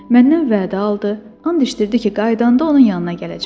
Məndən vədə aldı, and içdirdi ki, qaydanda onun yanına gələcəm.